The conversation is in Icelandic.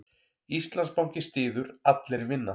Íslandsbanki styður Allir vinna